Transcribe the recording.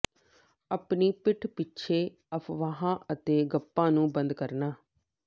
ਆਪਣੀ ਪਿੱਠ ਪਿੱਛੇ ਅਫਵਾਹਾਂ ਅਤੇ ਗੱਪਾਂ ਨੂੰ ਬੰਦ ਕਰਨਾ